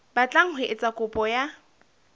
batlang ho etsa kopo ya